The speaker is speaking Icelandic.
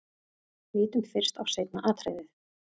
Lítum fyrst á seinna atriðið.